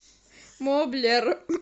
моблер